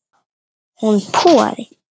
Hún púaði.